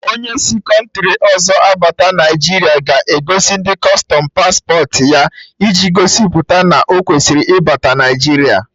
Onye si kọntri ọzọ abata Naijiria ga-egosi ndị kustọm pasporti ya, iji gosipụta na o kwesịrị ịbata Naịjiria